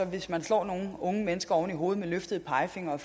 hvis vi slår nogle unge mennesker oven i hovedet og har løftede pegefingre og